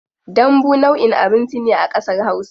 Dambu nau'in abinci ne a kasar hausa.